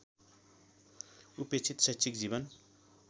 उपेक्षित शैक्षिक जीवन